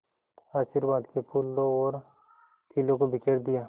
आशीर्वाद के फूलों और खीलों को बिखेर दिया